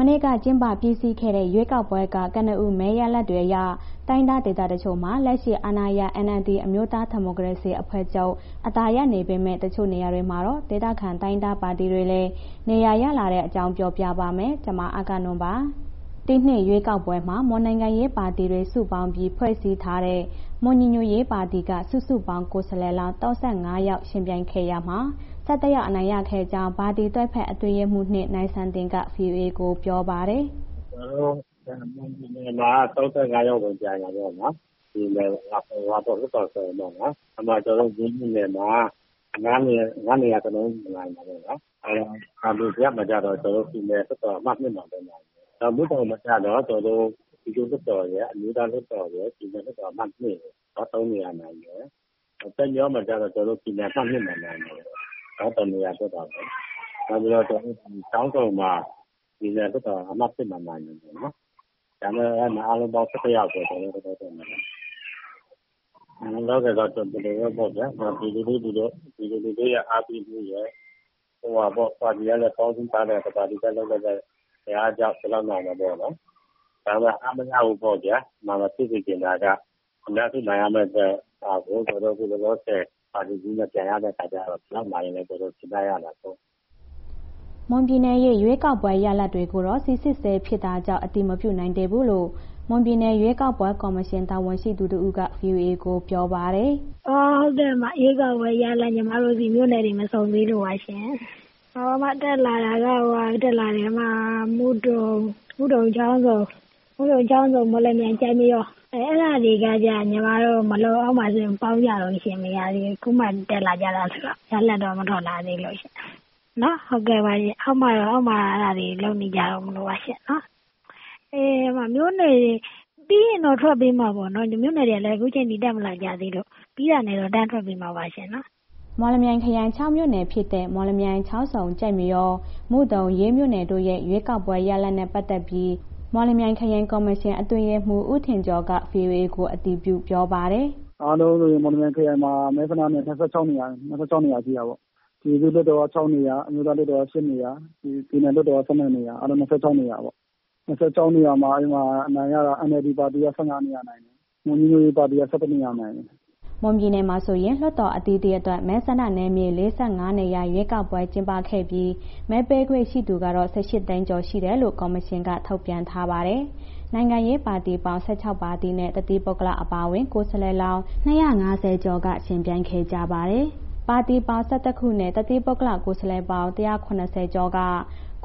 မနေ့က ကျင်းပပြီးစီးသွားတဲ့ ရွေးကောက်ပွဲက ကနဦး မဲရလဒ်တွေအရ တိုင်းရင်းသား ဒေသတချို့မှာ လက်ရှိအာဏာရ NLD အမျိုးသား ဒီမိုကရေစီအဖွဲ့ချုပ် အသာရနေပေမဲ့ တချို့နေရာတွေမှာတော့ ဒေသခံတိုင်းရင်းသားပါတီတွေလည်း နေရာရလာနေတဲ့အကြောင်း ပြောပြပါမယ်။ ဗွီအိုအေမြန်မာပိုင်းသတင်းထောက် မအဂ္ဂနွန်က သတင်းပေးပို့ထားပါတယ်။ ဒီနှစ်ရွေးကောက်ပွဲမှာ မွန်နိုင်ငံရေးပါတီတွေ စုပေါင်းပြီး ဖွဲ့စည်းထားတဲ့ မွန်ညီညွှတ်ရေးပါတီက စုစုပေါင်း ကိုယ်စားလှယ်လောင်း ၃၅ ယောက် ယှဉ်ပြိုင်ခဲ့ရာမှာ ၁၁ ယောက် အနိုင်ရခဲ့ကြောင်း ပါတီတွဲဘက်အတွင်းရေးမှူး ၂ နိုင်စံတင်က VOA ကို ပြောပါတယ်။ “ကျနော်တို့ မွန်ပြည်နယ်မှာ ၃၅ ယောက်ဝင်ပြိုင်တယ်ပေါ့နော်.. လွှတ်တော်ကိုယ်စားလှယ်ပေါ့နော်။ အဲ့ဒီမှာ ကျနော်တို့ ရေးမြို့နယ်မှာ ၅ နေရာစလုံး နိုင်တယ်ပေါ့နော်။ သံံဖြူဇရပ်မှာကျတော့ ပြည်နယ်လွှတ်တော် အမှတ် ၂ မှာပဲနိုင်တယ်။ မုဒုံမှာကျတော့ ကျနော်တို့ ပြည်သူ့လွှတ်တော်ရယ်၊ အမျိုးသားလွှတ်တော်ရယ်၊ ပြည်နယ်လွှတ်တော် အမှတ် ၂ ရယ် ၃ နေရာနိုင်တယ်။ ကျိုက်မရောမှာကျတော့ ကျနော်တို့ ပြည်နယ်လွှတ်တော် အမှတ် ၂ မှာ နိုင်တယ်။ တစ်နေရာလောက်ပဲ နောက်ပြီးတော့ ချောင်းဆုံမှာ ပြည်နယ်လွှတ်တော်အမှတ် ၂ မှာ နိုင်တယ်။ အဲ့ဒီမှာ အားလုံးပေါင်း ၁၁ ယောက်ပဲ ကျနော်တို့ နိုင်တယ်။ လောလောဆယ်တော့ ဒီလိုပေါ့ဗျာ ပြည်သူလူထုရဲ့ အားပေးမှုရယ်၊ ပါတီကလည်း ပေါင်းစည်းထားတဲ့ တစ်ပါတီရဲ့ အင်အားကြောင့် ဒီလောက်နိုင်တယ်ပေါ့နော်။ ဒါပေမဲ့ အားမရဘူးပေါ့ဗျာ... လောလောဆယ်ပါတီကြီးနဲ့ ပြိုင်ရတဲ့အခါကျတော့ ဒီလောက်နိုင်တာ ကျနော်တို့ ကျေနပ်ရတာပေါ့။” မွန်ပြည်နယ်ရဲ့ ရွေးကောက်ပွဲ မဲရလဒ်တွေကိုတော့ စိစစ်ဆဲဖြစ်တာကြောင့် အတည်မပြုနိုင်သေးဘူးလို့ မွန်ပြည်နယ် ရွေးကောက်ပွဲ ကော်မရှင် တာဝန်ရှိသူ တစ်ဦးက ဗွီအိုအေကိုပြောပါတယ်။ “ဟုတ်ကဲ့။ ရွေးကောက်ပွဲရလဒ် ညီမတို့ဆီ မြို့နယ်တွေ မစုံသေးလို့ပါရှင်။ တက်လာတာက မုဒုံ၊ ချောင်းဆုံ၊ မော်လမြိုင်၊ ကျိုက်မရော အဲ့ဒါတွေကျတော့ ညီမတို့ အောက်မှာ စာရင်းပေါင်းတုန်းရှင့်... မရသေးဘူး။ အခုမှ တက်လာကြတယ်ဆိုတော့ ရလဒ်တော့ မထွက်လာသေးလို့ရှင့်နော်။ အခုမှ အောက်မှာ လုပ်နေကြတုန်းမလို့ပါရှင်နော်။ မြို့နယ်တွေ ပြီးရင်တော့ ထွက်ပေးမှာပေါ့နော်။ မြို့နယ်တွေကလည်း အခုချိန်ထိတက်မလာကြသေးလို့ ပြီးတာနဲ့ တန်းထုတ်ပေးမှာပါရှင်။” မော်လမြိုင်ခရိုင် ၆ မြို့နယ်ဖြစ်တဲ့ မော်လမြိုင်၊ ချောင်းဆုံ၊ ကျိုက်မရော၊ မုဒုံ၊ ရေး မြို့နယ်တို့ရဲ့ ရွေးကောက်ပွဲရလဒ်နဲ့ ပတ်သက်ပြီး မော်လမြိုင်ခရိုင်ကော်မရှင် အတွင်းရေးမှူး ဦးထင်ကျော်က VOA ကို အတည်ပြု ပြောပါတယ်။ “အားလုံးဆိုရင် မော်လမြိုင်ခရိုင်မှာ မဲဆန္ဒနယ် ၂၆ နေရာရှိတာပေါ့။ ပြည်သူ့လွှတ်တော်က ၆ နေရာ၊ အမျိုးသားလွှတ်တော်က ၈ နေရာ၊ ပြည်နယ်လွှတ်တော်က ၁၂ နေရာ၊ အားလုံး ၂၆ နေရာပေါ့။ ၂၆ နေရာမှာ အဲ့မှာ အနိုင်ရတာ NLD ပါတီက ၁၅ နေရာနိုင်တယ်။ မွန်ညီညွှတ်ရေးပါတီက ၁၁ နေရာနိုင်တယ်။” မွန်ပြည်နယ်မှာဆိုရင် လွှတ်တော်အသီးသီးအတွက် မဲဆန္ဒနယ်မြေ ၄၅ နေရာ ရွေးကောက်ပွဲ ကျင်းပခဲ့ပြီး မဲပေးခွင့်ရှိသူကတော့ ၁၈ သိန်းကျော်ရှိတယ်လို့ ကော်မရှင်က ထုတ်ပြန်ထားပါတယ်။ နိုင်ငံရေးပါတီပေါင်း ၁၆ ပါတီနဲ့ တသီးပုဂ္ဂလအပါအဝင်း ကိုယ်စားလှယ်လောင်း ၂၅၀ ကျော်က ယှဉ်ပြိုင်ခဲ့ကြပါတယ်။ ပါတီပေါင်း ၁၁ ခုနဲ့ တစ်သီးပုဂ္ဂလ ကိုယ်စားလှယ်ပေါင်း ၁၇၀ ကျော်က